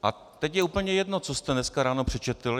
A teď je úplně jedno, co jste dneska ráno přečetl.